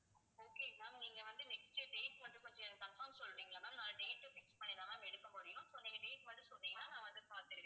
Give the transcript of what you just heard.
okay ma'am நீங்க வந்து next date மட்டும் கொஞ்சம் எனக்கு confirm சொல்றீங்களா ma'am நான் date fix பண்ணி தான் எடுக்க முடியும் so நீங்க date மட்டும் சொன்னீங்கன்னா நான் வந்து பாத்துருவேன்